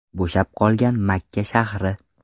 Bo‘shab qolgan Makka shahri.